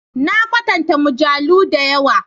Na katanta mujallu da yawa.